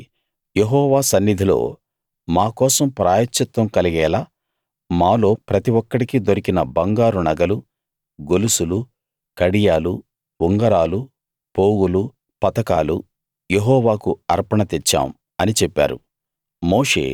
కాబట్టి యెహోవా సన్నిధిలో మా కోసం ప్రాయశ్చిత్తం కలిగేలా మాలో ప్రతి ఒక్కడికి దొరికిన బంగారు నగలు గొలుసులు కడియాలు ఉంగరాలు పోగులు పతకాలు యెహోవాకు అర్పణ తెచ్చాం అని చెప్పారు